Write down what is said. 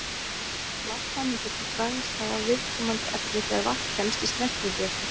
Vatnssameindirnar dragast þá að viðkomandi efni þegar vatn kemst í snertingu við það.